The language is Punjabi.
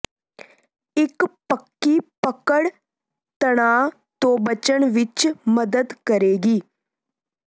ਇੱਕ ਪੱਕੀ ਪਕੜ ਤਣਾਅ ਤੋਂ ਬਚਣ ਵਿੱਚ ਮਦਦ ਕਰੇਗੀ